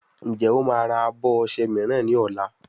Njé o má rà abọ ọṣẹ míràn ní ol?